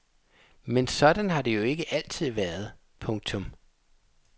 Men sådan har det jo ikke altid været. punktum